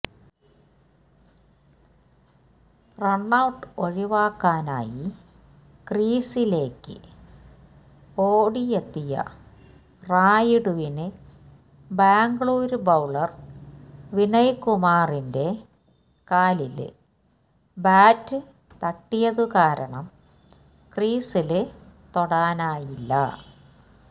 run out ഒഴിവാക്കാനായി ക്രീസിലേക്ക് ഓടിയെത്തിയ റായിഡുവിന് ബാംഗ്ലൂര് ബൌളര് വിനയ്കുമാറിന്റെ കാലില് ബാറ്റ് തട്ടിയതു കാരണം ക്രീസില് തൊടാനായില്ല